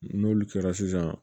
N'olu kɛra sisan